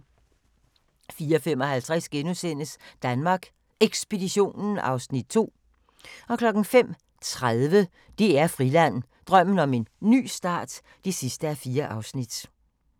04:55: Danmark Ekspeditionen (Afs. 2)* 05:30: DR Friland: Drømmen om en ny start (4:4)